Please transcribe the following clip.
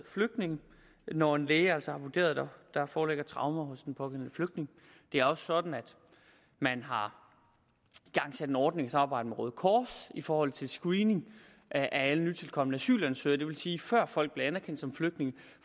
flygtninge når en læge altså har vurderet at der foreligger traumer hos den pågældende flygtning det er også sådan at man har igangsat en ordning i samarbejde med røde kors i forhold til screening af alle nytilkomne asylansøgere det vil sige at før folk bliver anerkendt som flygtninge